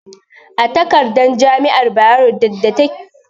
A takarda jami'ar Bayero ta ke buga sanarwa